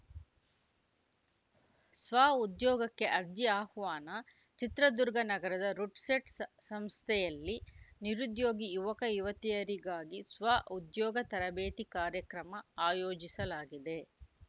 ಸ್ವಉದ್ಯೋಗಕ್ಕೆ ಅರ್ಜಿ ಅಹ್ವಾನ ಚಿತ್ರದುರ್ಗ ನಗರದ ರುಡ್‌ಸೆಟ್‌ ಸಂ ಸಂಸ್ಥೆಯಲ್ಲಿ ನಿರುದ್ಯೋಗಿ ಯುವಕಯುವತಿಯರಿಗಾಗಿ ಸ್ವಉದ್ಯೋಗ ತರಬೇತಿ ಕಾರ್ಯಕ್ರಮ ಆಯೋಜಿಸಲಾಗಿದೆ